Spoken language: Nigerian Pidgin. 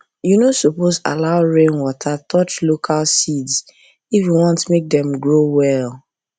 you no suppose allow rainwater touch local seeds if you want make dem grow well